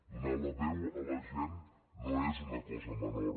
donar la veu a la gent no és una cosa menor